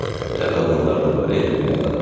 “Belə qadınlar da var dünyada.”